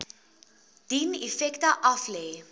dien effekte aflê